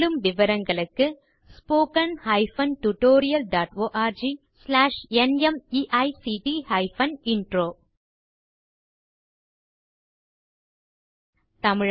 மேலும் விவரங்களுக்கு spoken hyphen tutorial dot org slash நிமைக்ட் ஹைபன் இன்ட்ரோ மூல பாடம் தேசி க்ரூ சொலூஷன்ஸ்